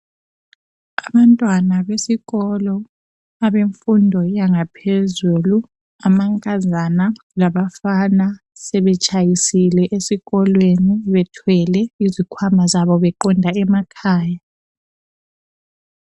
Abantwana besikolo abemfundo yangaphezulu amankazana labafana sebetshayisile esikolweni bethwele izikhwama zabo beqonda emakhaya